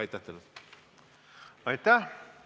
Aitäh!